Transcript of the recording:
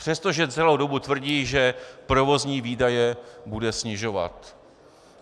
Přestože celou dobu tvrdí, že provozní výdaje bude snižovat.